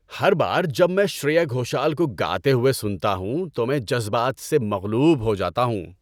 ‏ہر بار جب میں شریا گھوشل کو گاتے ہوئے سنتا ہوں تو میں جذبات سے مغلوب ہو جاتا ہوں۔